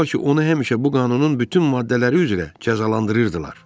Demək olar ki, onu həmişə bu qanunun bütün maddələri üzrə cəzalandırırdılar.